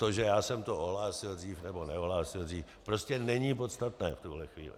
To, že já jsem to ohlásil dřív, nebo neohlásil dřív, prostě není podstatné v tuhle chvíli.